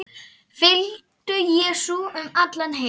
Fylgdu Jesú um allan heim